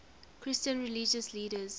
christian religious leaders